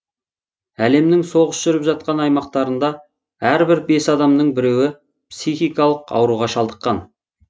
әлемнің соғыс жүріп жатқан аймақтарында әрбір бес адамның біреуі психикалық ауруға шалдыққан